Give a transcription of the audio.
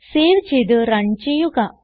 save ചെയ്ത് run ചെയ്യുക